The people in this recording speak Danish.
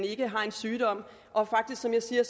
ikke har en sygdom og som jeg siger